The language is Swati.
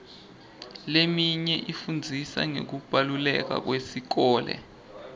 leminye ifundzisa ngekubaluleka kwesikole